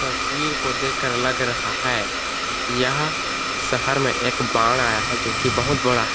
तस्वीर को देखकर लग रहा है यहाँ शहर में एक बाढ़ आया है जो कि बहुत बड़ा--